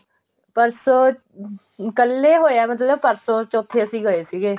ਪਰਸੋੰ ਕੱਲ ਏ ਹੋਇਆ ਮਤਲਬ ਪਰਸੋੰ ਚੋਥੇ ਅਸੀਂ ਗਏ ਸੀਗੇ